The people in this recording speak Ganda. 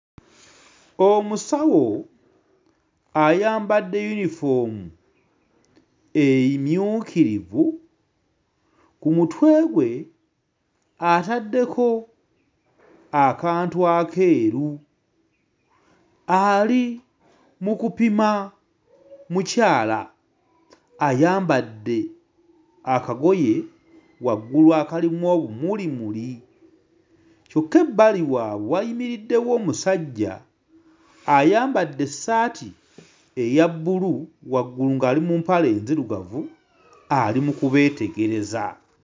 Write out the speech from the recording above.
Omusawo ayambadde yunifoomu emmyukiivu, ku mutwe gwe ataddeko akantu akeeru, ali mu kupima mukyala ayambadde akagoye waggulu akalimu obumulimuli kyokka ebbali waabwe wayimiriddewo omusajja ayambadde essaati eya bbulu, waggulu ng'ali mu mpale nzirugavu, ali mu kubeetegereza.